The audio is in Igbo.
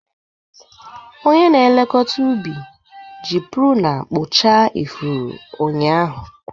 Onye na-elekọta ubi ji pruna kpụchaa ifuru ụnyaahụ.